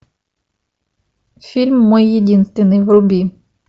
фильм мой единственный вруби